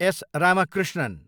S. Ramakrishnan